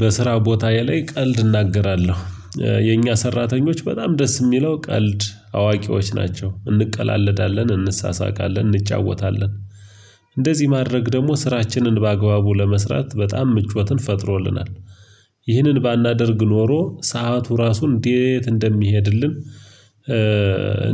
በስራ ቦታ ላይ ቀልድ እናገራለሁ። የኛ ሰራተኞች በጣም ደስ የሚለው ቀልድ አዋቂዎች ናቸ፤ እንቀላለዳለን፤ እንሳሳቃለን፤ እንጫወታለን እንደዚህ ማድረግ ደግሞ ስራችንን በአግባቡ ለመስራት በጣም ምቾትን ፈጥሮልናል። ይህንን ባናደርግ ኖሮ ሰዓቱ ራሱን እንዴት እንደሚሄድልን